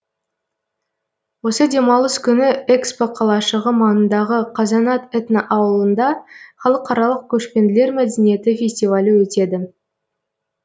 осы демалыс күні экспо қалашығы маңындағы қазанат этноауылында халықаралық көшпенділер мәдениеті фестивалі өтеді